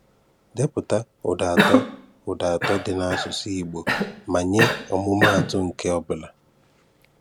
Depụta ụda atọ ụda atọ dị na asụsụ Igbo ma nye ọmụmatụ nke ọ bula.